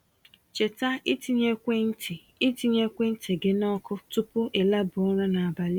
Cheta ịtinye ekwentị ịtinye ekwentị gị na ọkụ tupu i laba ụra nabalị a.